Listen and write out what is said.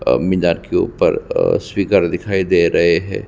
अब मिज़ार के ऊपर स्वीगर दिखाई दे रहै है ।